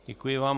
Děkuji vám.